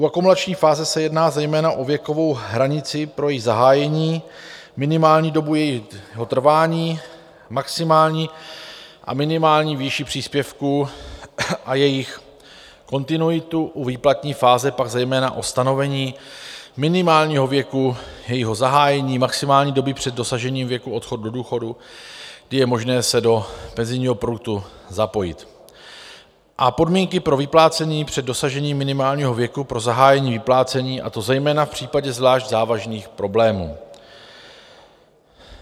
U akumulační fáze se jedná zejména o věkovou hranici pro její zahájení, minimální dobu jejího trvání, maximální a minimální výši příspěvků a jejich kontinuitu, u výplatní fáze pak zejména o stanovení minimálního věku jejího zahájení, maximální doby před dosažením věku odchodu do důchodu, kdy je možné se do penzijního produktu zapojit, a podmínky pro vyplácení před dosažením minimálního věku pro zahájení vyplácení, a to zejména v případě zvlášť závažných problémů.